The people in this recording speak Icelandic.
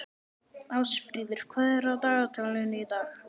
Ásfríður, hvað er í dagatalinu í dag?